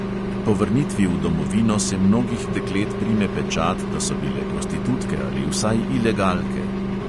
Po vrnitvi v domovino se mnogih deklet prime pečat, da so bile prostitutke ali vsaj ilegalke.